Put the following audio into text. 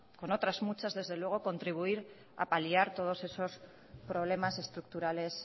con otras muchas desde luego contribuir apaliar todos estos problemas estructurales